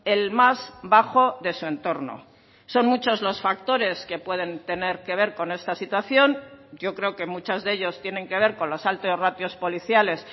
el más bajo de su entorno son muchos los factores que pueden tener que ver con esta situación yo creo que muchos de ellos tienen que ver con los altos ratios policiales